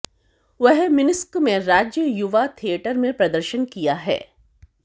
वह मिन्स्क में राज्य युवा थियेटर में प्रदर्शन किया है